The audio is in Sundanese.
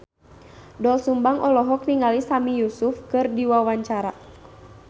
Doel Sumbang olohok ningali Sami Yusuf keur diwawancara